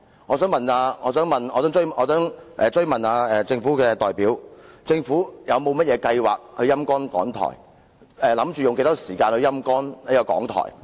我想追問政府的代表，政府是否有計劃"陰乾"港台，以及打算用多少時間來"陰乾"港台？